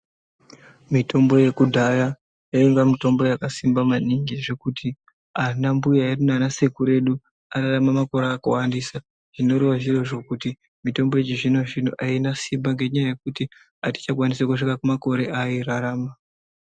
Mitombo yedhaya yainga mitombo yakasimba maningi zvekuti anambuya edu nana sekudu edu airarama makore akawandisa zvinoreva zviro zvekuti mitombo yechizvinozvino aina simba ngenyaya yekuti atichakwanisi kusvika pamakore avai rarama.